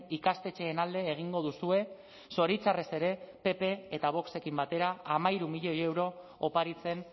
ikastetxeen alde egingo duzue zoritxarrez ere pp eta voxekin batera hamairu milioi euro oparitzen